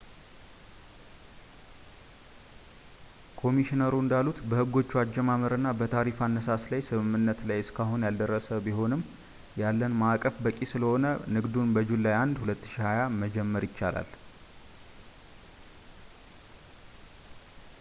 ኮሚሽነሮሩ እንዳሉት፣ በሕጎቹ አጀማመርና በታሪፍ አነሳስ ላይ ስምምነት ላይ እስካሁን ያልደረስን ቢሆንም ያለን ማዕቀፍ በቂ ስለሆነ ንግዱን በjuly 1 2020 መጀመር ይቻላል